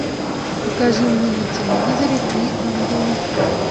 покажи мне на телевизоре три ангела